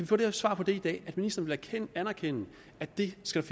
få det svar i dag at ministeren vil anerkende at det skal